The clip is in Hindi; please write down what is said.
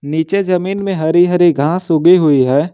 नीचे जमीन में हरी हरी घास उगी हुई है।